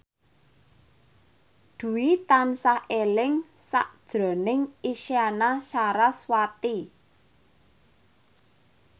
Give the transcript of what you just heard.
Dwi tansah eling sakjroning Isyana Sarasvati